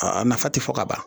Aa nafa ti fɔ ka ban